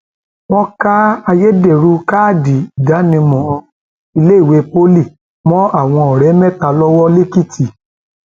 wọn ká ayédèrú káàdì ìdánimọ iléèwé pọlì mọ àwọn ọrẹ mẹta lọwọ lẹkìtì